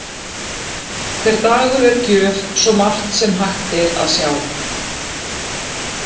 Hver dagur er gjöf, svo margt sem að hægt er að sjá.